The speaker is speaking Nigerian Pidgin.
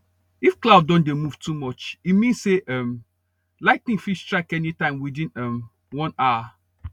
if cloud don dey move too much e mean say um ligh ten ing fit strike anytime within um one hour